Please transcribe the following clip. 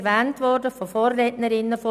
Es wurde von meinen Vorrednerinnen erwähnt: